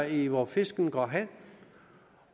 i hvor fisken går hen